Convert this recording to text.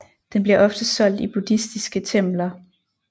Den bliver ofte solgt i buddhistiske templer